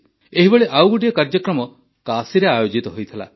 ଏହିଭଳି ଆଉ ଗୋଟିଏ କାର୍ଯ୍ୟକ୍ରମ କାଶୀରେ ଆୟୋଜିତ ହୋଇଥିଲା